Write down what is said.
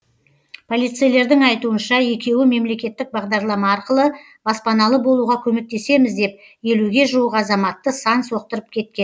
полицейлердің айтуынша екеуі мемлекеттік бағдарлама арқылы баспаналы болуға көмектесеміз деп елуге жуық азаматты сан соқтырып кеткен